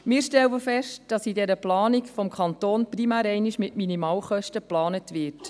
Wir stellen fest, dass in dieser Planung des Kantons primär einmal mit Minimalkosten geplant wird.